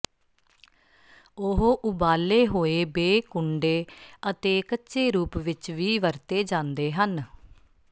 ਉਹ ਉਬਾਲੇ ਹੋਏ ਬੇਕੁੰਡੇ ਅਤੇ ਕੱਚੇ ਰੂਪ ਵਿਚ ਵੀ ਵਰਤੇ ਜਾਂਦੇ ਹਨ